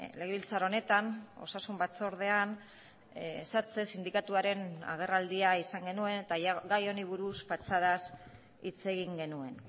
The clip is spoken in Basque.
legebiltzar honetan osasun batzordean satse sindikatuaren agerraldia izan genuen eta gai honi buruz patxadaz hitz egin genuen